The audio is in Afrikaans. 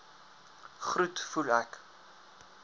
groet voel ek